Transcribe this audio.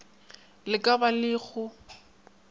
le ka ba le go